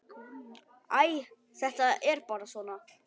Æ, þetta er bara svona.